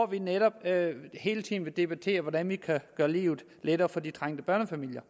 vi netop hele tiden debatterer hvordan vi kan gøre livet lettere for de trængte børnefamilier